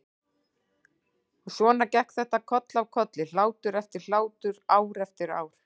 Og svona gekk þetta koll af kolli, hlátur eftir hlátur, ár eftir ár.